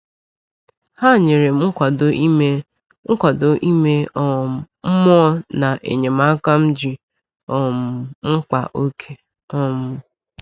Ha nyere m nkwado ime nkwado ime um mmụọ na enyemaka m ji um mkpa oke. um